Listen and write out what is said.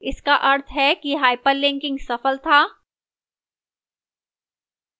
इसका अर्थ है कि hyperlinking सफल था